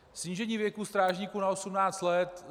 Snížení věku strážníků na 18 let.